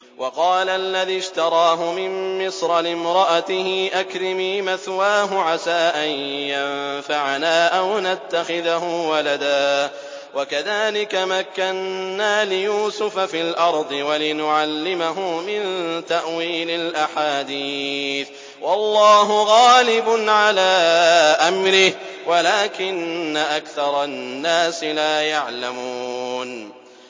وَقَالَ الَّذِي اشْتَرَاهُ مِن مِّصْرَ لِامْرَأَتِهِ أَكْرِمِي مَثْوَاهُ عَسَىٰ أَن يَنفَعَنَا أَوْ نَتَّخِذَهُ وَلَدًا ۚ وَكَذَٰلِكَ مَكَّنَّا لِيُوسُفَ فِي الْأَرْضِ وَلِنُعَلِّمَهُ مِن تَأْوِيلِ الْأَحَادِيثِ ۚ وَاللَّهُ غَالِبٌ عَلَىٰ أَمْرِهِ وَلَٰكِنَّ أَكْثَرَ النَّاسِ لَا يَعْلَمُونَ